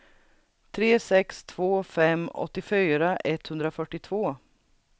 tre sex två fem åttiofyra etthundrafyrtiotvå